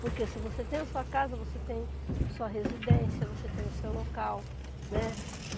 Porque se você tem a sua casa, você tem a sua residência, você tem o seu local, né?